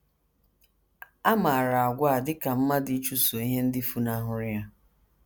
A maara àgwà a dị ka mmadụ ịchụso ihe ndị funahụrụ ya.